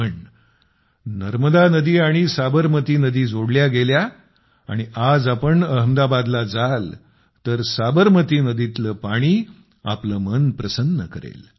पण नर्मदा नदी आणि साबरमती नदी जोडल्या गेल्या आणि आज आपण अहमदाबादला जाल तर साबरमती नदीतील पाणी आपले मन प्रसन्न करेल